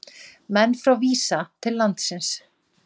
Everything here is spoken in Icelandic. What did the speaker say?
Menn frá Visa til landsins